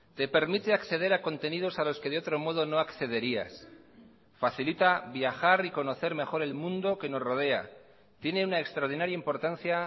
te permite acceder a contenidos a los que de otro modo no accederías facilita viajar y conocer mejor el mundo que nos rodea tiene una extraordinaria importancia